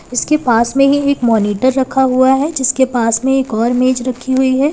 उसके पास में ही एक मॉनिटर रखा हुआ है जिसके पास में एक और मेज रखी हुई है।